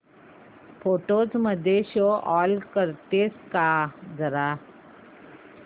photos मध्ये show all करतेस का जरा